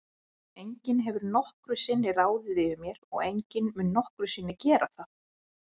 Enginn hefur nokkru sinni ráðið yfir mér og enginn mun nokkru sinni gera það.